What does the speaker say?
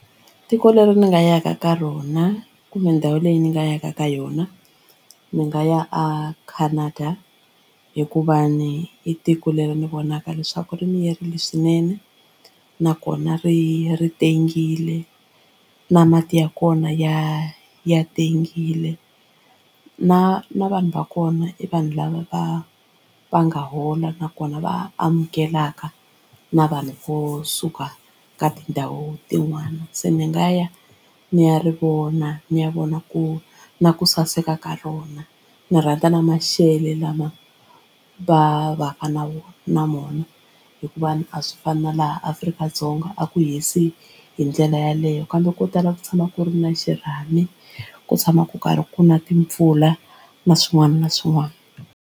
Tiko leri ni nga ya ka ka rona kumbe ndhawu leyi ni nga yaka ka yona ni nga ya a Canada hikuva ni i tiko leri ndzi vonaka leswaku ri miyerile swinene nakona ri ri tengile na mati ya kona ya ya tengile na na vanhu va kona i vanhu lava va va nga hola nakona va amukelaka na vanhu vo suka ka tindhawu tin'wani se ni nga ya ni ya ri vona ni ya vona ku na ku saseka ka rona. Ndzi rhandza na maxelo lama va vaka na wona na mona hikuva a swi fani na laha Afrika-Dzonga a ku hisi hi ndlela yaleyo kambe ko tala ku tshama ku ri na xirhami ku tshama ku karhi ku na timpfula na swin'wana na swin'wana.